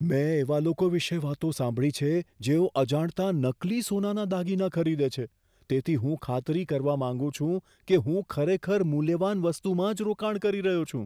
મેં એવા લોકો વિશે વાતો સાંભળી છે જેઓ અજાણતાં નકલી સોનાના દાગીના ખરીદે છે તેથી હું ખાતરી કરવા માંગુ છું કે હું ખરેખર મૂલ્યવાન વસ્તુમાં જ રોકાણ કરી રહ્યો છું.